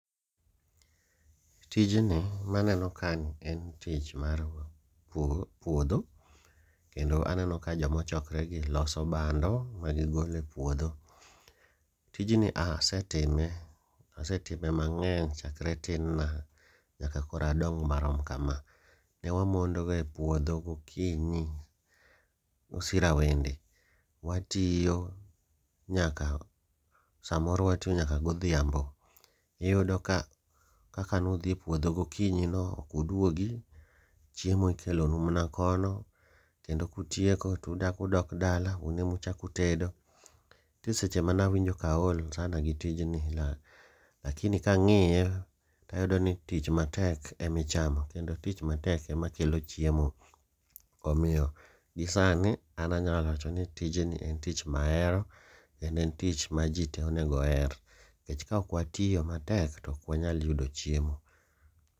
Tijni maneno ka ni en tich mar puodho, kendo aneno ka jomachokre gi loso bando ma gigole puodho. Tijni asetime, asetime mang'eny chakre tin na nyako koro adong marom kama. Ne wamondoga e puodho gokinyi osirawende, watiyo nyaka samoro watiyo nyaka godhiambo. Iyudo ka kaka nudhi e puodho gokinyi no okuduogi, chiemo ikelonu mana kono kendo kutieko tuchakudok dala un emuchakutedo. Nitie seche mana winjo kaol sana gi tijni la, lakini kang'iye tayudo ni tich matek emichamo kendo tich matek ema kelo chiemo. Omiyo gi sani an anyalo wacho ni tijni en tich mahero kendo en tich ma ji te onego oher. Nikech ka ok watiyo matek to ok wanyal yudo chiemo.